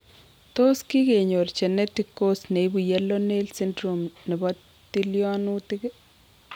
Tos kikenyor genetic cause neibu Yellow nail syndrome nebo tilyonutik?